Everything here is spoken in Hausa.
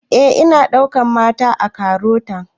Eh ana ɗaukan mata a KAROTA